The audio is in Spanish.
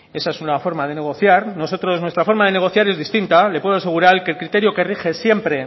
esa es una forma de negociar nuestra forma de negociar es distinta le puedo asegurar que el criterio que rige siempre